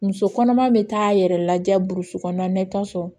Muso kɔnɔma be taa yɛrɛ lajɛ kɔnɔna na i bi taa sɔrɔ